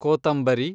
ಕೋತಂಬರಿ